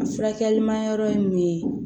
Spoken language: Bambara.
A furakɛli ma yɔrɔ ye mun ye